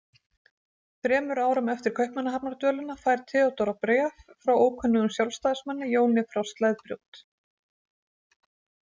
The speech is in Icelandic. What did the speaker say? Þremur árum eftir Kaupmannahafnardvölina fær Theodóra bréf frá ókunnugum Sjálfstæðismanni, Jóni frá Sleðbrjót.